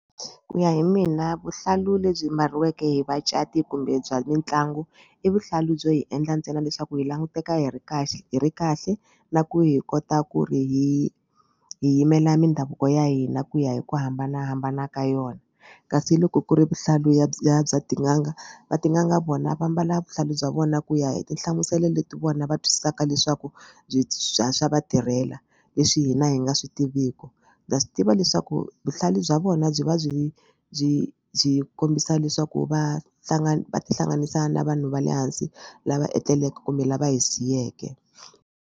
Ku ya hi mina vuhlalu lebyi mbariwaka hi vacati kumbe bya mitlangu i vuhlalu byo hi endla ntsena leswaku hi languteka hi ri kahle hi ri kahle na ku hi kota ku ri hi hi yimela mindhavuko ya hina ku ya hi ku hambanahambana ka yona kasi loko ku ri vuhlalu ya bya bya tin'anga va tin'anga vona va mbala vuhlalu bya vona ku ya hi tinhlamuselo leti vona va twisisaka leswaku bya swa vatirhela leswi hina hi nga swi tiviku. Ndza swi tiva leswaku vuhlalu bya vona byi va byi byi byi kombisa leswaku va hlangana va tihlanganisa na vanhu va le hansi lava etleleke kumbe lava hi siyeke.